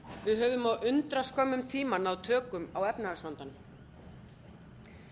við höfum á undraskömmum tíma náð tökum á efnahagsvandanum